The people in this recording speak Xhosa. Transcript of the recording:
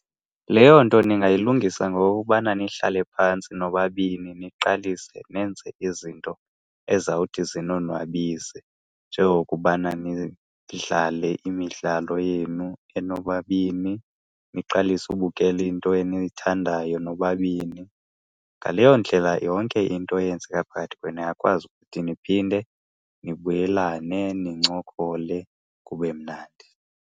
Leyo nto ningayilungisa ngokokubana nihlale phantsi nobabini niqalise nenze izinto ezizawuthi zinonwabise, njengokubana nidlale imidlalo yenu enobabini, niqalise ubukela into eniyithandayo nobabini. Ngaleyo ndlela yonke into eyenzeka phakathi kwenu niyakwazi ukuthi niphinde nibuyelane, nincokole kube mnandi.